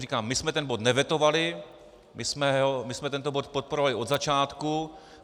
Říkám, my jsme ten bod nevetovali, my jsme tento bod podporovali od začátku.